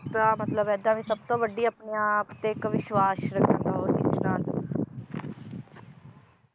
ਤਾਂ ਮਤਲਬ ਏਦਾਂ ਵੀ ਸਬਤੋਂ ਵੱਡੀ ਆਪਣੇ ਆਪ ਤੇ ਇਕ ਵਿਸ਼ਵਾਸ ਰੱਖਣ ਸਿਧਾਂਤ